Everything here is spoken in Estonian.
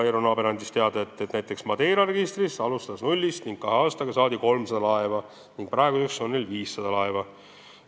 Eero Naaber andis teada, et näiteks Madeira alustas nullist, kahe aastaga saadi registrisse 300 laeva ning praeguseks on neil 500 laeva.